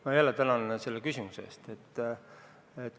Ma jälle tänan selle küsimuse eest!